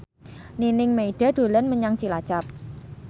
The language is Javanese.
Nining Meida dolan menyang Cilacap